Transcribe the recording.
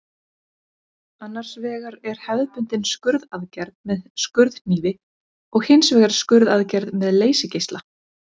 Annars vegar er hefðbundin skurðaðgerð með skurðhnífi og hins vegar skurðaðgerð með leysigeisla.